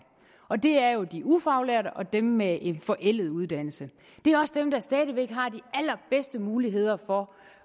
og det er jo de ufaglærte og dem med en forældet uddannelse det er også dem der stadig væk har de allerbedste muligheder for